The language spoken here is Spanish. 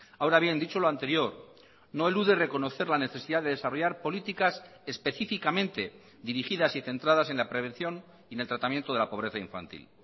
ahora bien dicho lo anterior no elude reconocer la necesidad de desarrollar políticas específicamente dirigidas y centradas en la prevención y en el tratamiento de la pobreza infantil